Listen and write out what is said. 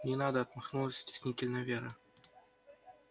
не надо отмахнулась стеснительно вера